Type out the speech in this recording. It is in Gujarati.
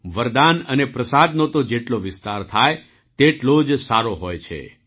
વરદાન અને પ્રસાદ તો જેટલો વિસ્તાર થાય તેટલો જ સારો હોય છે